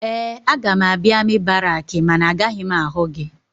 Ee, aga m abịa amị barakị mana agaghị m ahụ gị.